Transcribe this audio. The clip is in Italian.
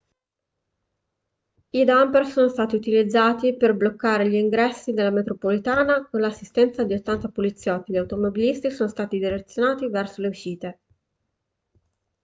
i dumper sono stati utilizzati per bloccare gli ingressi della metropolitana e con l'assistenza di 80 poliziotti gli automobilisti sono stati direzionati verso le uscite